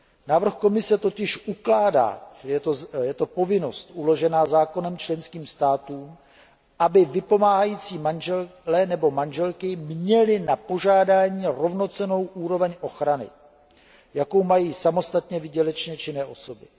Návrh Komise totiž ukládá je to povinnost uložená zákonem členským státům aby vypomáhající manželé nebo manželky měli na požádání rovnocennou úroveň ochrany, jakou mají samostatně výdělečně činné osoby.